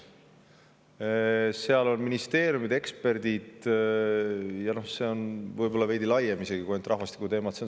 Seal on ministeeriumide eksperdid ja see on võib-olla isegi veidi laiem, seal ei ole ainult rahvastikuteemad.